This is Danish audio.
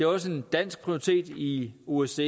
også en dansk prioritet i osce